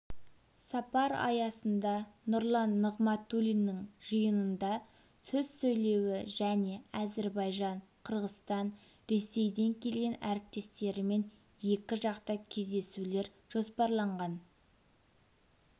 сапар аясында нұрлан нығматулиннің жиынында сөз сөйлеуі және әзербайжан қырғызстан ресейден келген әріптестерімен екіжақты кездесулер жоспарланған